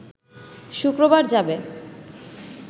শুক্রবার যাবে